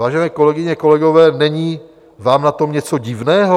Vážené kolegyně, kolegové, není vám na tom něco divného?